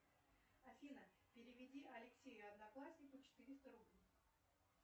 афина переведи алексею однокласснику четыреста рублей